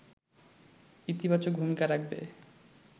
ইতিবাচক ভূমিকা রাখবে